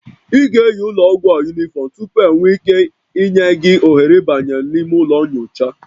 Ị ga-eyi ụlọ ọgwụ a unifrom tupu enwee ike ịnye gị ohere ịbanye n'ime ụlọ nyocha